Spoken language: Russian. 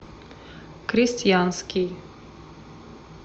крестьянский